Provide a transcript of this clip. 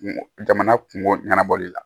Kungo jamana kungo ɲɛnabɔli la